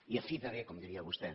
i a fi de bé com diria vostè